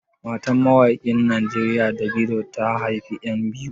Matan mawaƙin Najeriya Davido, ta haifi 'yan biyu.